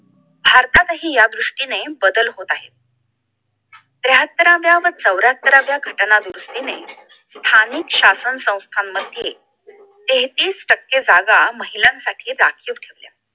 भारतातही या दृष्टीने बदल होत आहेत त्र्याहात्तराव्या व चौऱ्याहत्तरराव्या घटना दुरुस्तीने स्थानिक शासन संथ मध्ये तेहतीस टक्के जागा महिलांसाठी राखीव ठेवल्या